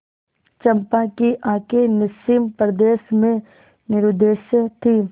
चंपा की आँखें निस्सीम प्रदेश में निरुद्देश्य थीं